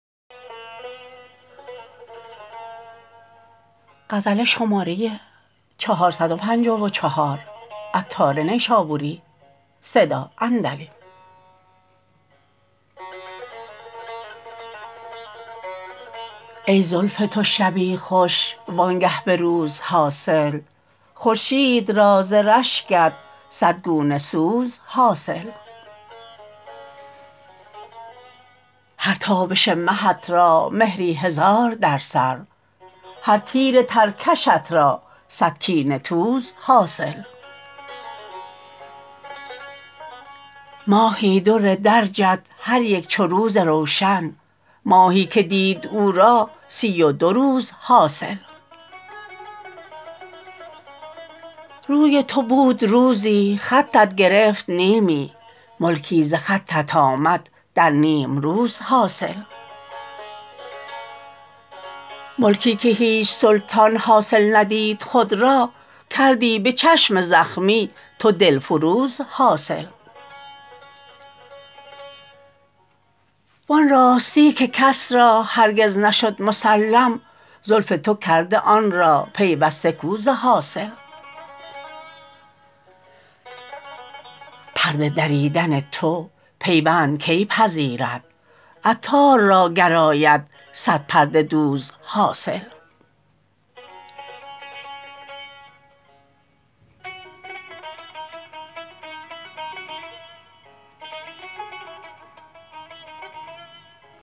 ای زلف تو شبی خوش وانگه به روز حاصل خورشید را ز رشکت صد گونه سوز حاصل هر تابش مهت را مهری هزار در سر هر تیر ترکشت را صد کینه توز حاصل ماهی در درجت هر یک چو روز روشن ماهی که دید او را سی و دو روز حاصل روی تو بود روزی خطت گرفت نیمی ملکی ز خطت آمد در نیمروز حاصل ملکی که هیچ سلطان حاصل ندید خود را کردی به چشم زخمی تو دلفروز حاصل وان راستی که کس را هرگز نشد مسلم زلف تو کرده آن را پیوسته کو ز حاصل پرده دریدن تو پیوند کی پذیرد عطار را گر آید صد پرده دوز حاصل